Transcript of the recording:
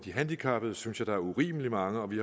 handicappede synes jeg der er urimeligt mange vi